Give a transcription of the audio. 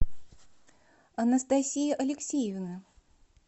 анастасии алексеевны